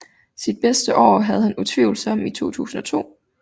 Sit bedste år havde han utvivlsomt i 2002